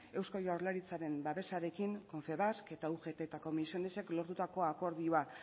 eusko jaurlaritzaren babesarekin confebask eta ugt eta comisionesek lortutako akordioa